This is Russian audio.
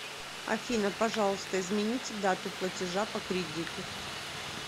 афина пожалуйста измените дату платежа по кредиту